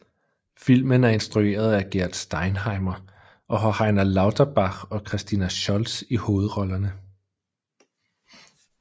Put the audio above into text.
Filmen er instrueret af Gert Steinheimer og har Heiner Lauterbach og Christina Scholz i hovedrollerne